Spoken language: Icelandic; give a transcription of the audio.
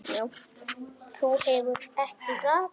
Þú hefur ekki rakað þig.